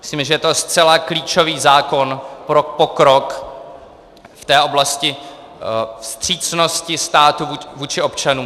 Myslím, že je to zcela klíčový zákon pro pokrok v té oblasti vstřícnosti státu vůči občanům.